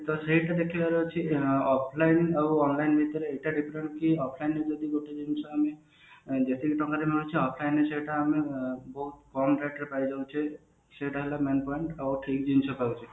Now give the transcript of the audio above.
offline ଆଉ online ଭିତରେ ଏଇଟା different କି offline ରେ ଯଦି ଗୋଟେ ଜିନିଷ ଆମେ ଯେତିକି ଟଙ୍କାରେ ମିଳୁଛି offline ସେଟା ଆମେ ବହୁତ କମ rate ରେ ସେଟ ହେଲା main point ଆଉ ଠିକ ଜିନିଷ ପାଉଛେ